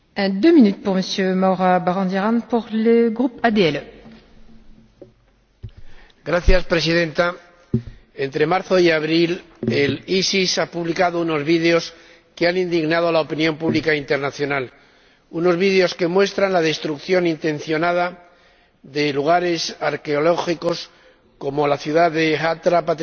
Señora Presidenta, entre marzo y abril, el ISIS ha publicado unos vídeos que han indignado a la opinión pública internacional unos vídeos que muestran la destrucción intencionada de lugares arqueológicos, como la ciudad de Hatra, patrimonio de la Unesco